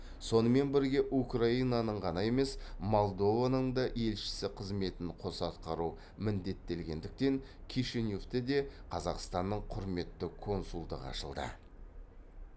сонымен бірге украинаның ғана емес молдованың да елшісі қызметін қоса атқару міндеттелгендіктен кишиневте де қазақстанның құрметті консулдығы ашылды